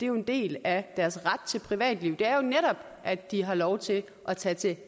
en del af deres ret til privatliv er jo netop at de har lov til at tage til